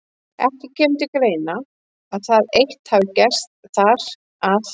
Ekki kemur til greina, að það eitt hafi gerst þar, að